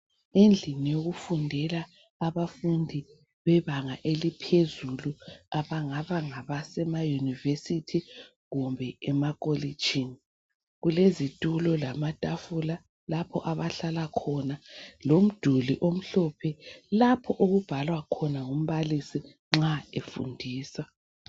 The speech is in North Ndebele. Endlini yokufundela abebanga laphezulu abanga ngabafundi beyunivesithi kumbe emakolitshini lapho okulezitulo lamatafula lomduli omhlophe lapho okubhalwa khona umbalisi nxa efundisa.